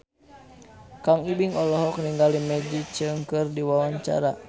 Kang Ibing olohok ningali Maggie Cheung keur diwawancara